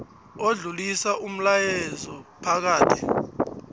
odlulisa umlayezo phakathi